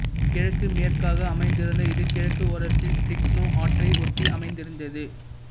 கிழக்குமேற்காக அமைந்திருந்த இது கிழக்கு ஓரத்தில் டிரிக்னோ ஆற்றை ஒட்டி அமைந்திருந்தது